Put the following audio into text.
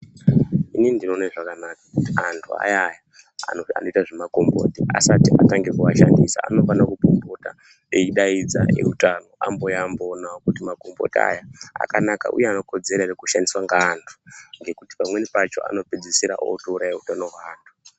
Inini ndinoone zvakanaka kuti antu ayaya anoita zvemakomboti asati atange kuashandisa anofane kumbopota eidaidza eutano amboouya amboonawo kuti makomboti aya akanaka uye anokodzera ere kushandiswa ngeantu ngekuti pamweni pacho anopedzisira akutouraya utano hwaantu.